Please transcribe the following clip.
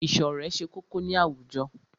Ìṣọ̀rẹ́ ṣe kókó ní àwùjọ.